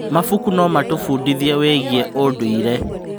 Mabuku no matũbundithie wĩgiĩ ũndũire.